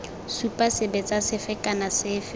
supa sebetsa sefe kana sefe